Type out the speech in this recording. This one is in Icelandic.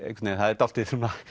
það er dálítið svona